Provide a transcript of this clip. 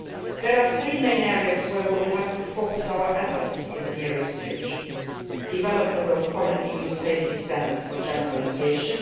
There are three main areas on which we will have to focus our efforts in the nearest future development of common EU safety standards for general aviation